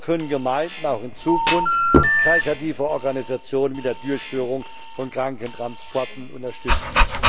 So können Gemeinden auch in Zukunft karitative Organisationen mit der Durchführung von Krankentransporten unterstützen.